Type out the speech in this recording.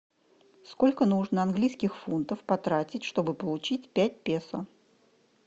сколько нужно английских фунтов потратить чтобы получить пять песо